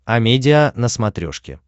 амедиа на смотрешке